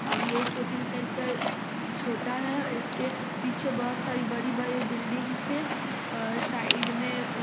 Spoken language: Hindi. और ये कोचिंग सेंटर छोटा है और इसके पीछे बहुत सारी बड़ी-बड़ी बिल्डिंगस है और साइड में --